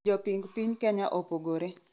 Joping piny kenya opogore